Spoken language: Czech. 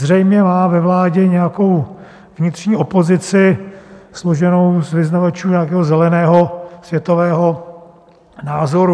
Zřejmě má ve vládě nějakou vnitřní opozici složenou z vyznavačů nějakého zeleného světového názoru.